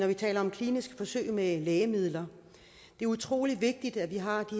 vi taler om kliniske forsøg med lægemidler det er utrolig vigtigt at vi har